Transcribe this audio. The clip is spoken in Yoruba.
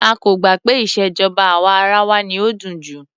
A kò gbà pé ìṣèjọba àwa arawa ni ó dùn jù.